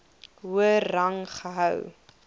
hoër rang gehou